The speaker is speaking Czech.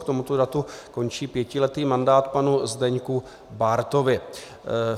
K tomuto datu končí pětiletý mandát panu Zdeňku Bártovi.